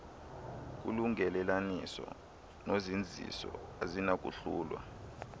kulungelelaniso nozinziso azinakuhlulwa